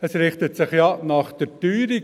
Es richtet sich ja nach der Teuerung.